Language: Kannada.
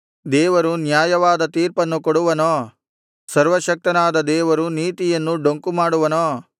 ದೇವರು ಅನ್ಯಾಯವಾದ ತೀರ್ಪನ್ನು ಕೊಡುವನೋ ಸರ್ವಶಕ್ತನಾದ ದೇವರು ನೀತಿಯನ್ನು ಡೊಂಕುಮಾಡುವನೋ